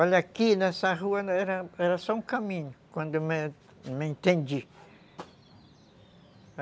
Olha, aqui nessa rua era só um caminho, quando eu me, me entendi.